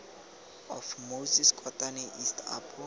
of moses kotane east apo